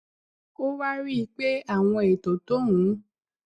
ó wá rí i pé àwọn ètò tóun